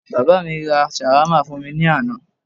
Bàbá mi ra Shawarma fún mi ní àná